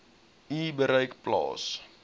u bereik plaas